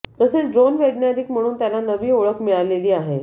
तसेच ड्रोन वैज्ञानिक म्हणून त्याला नवी ओळख मिळालेली आहे